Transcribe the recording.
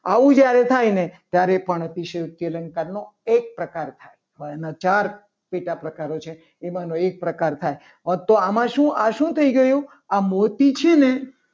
આવું જ્યારે થાય ને ત્યારે પણ અતિશયોક્તિ અલંકાર નો એક પ્રકાર થાય. હવે આના ચાર પેટા પ્રકારો છે. તેમનો એક પ્રકાર થાય આ તો આમાં આમાં શું થઈ ગયું? આ મોતી છે. ને